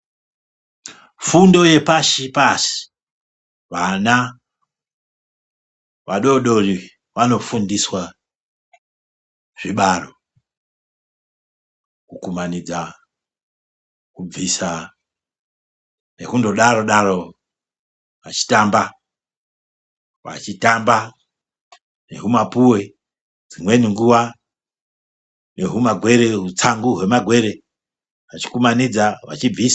Fundo yepashi -pashi vana vadodori vanofundiswa zvibaro ,kukumanidza, kubvisa, nekundodaro darowo ,vachitamba, vachitamba nehumapuwe dzimweni nguwa nehutsangu hwemagwere vachindodaro.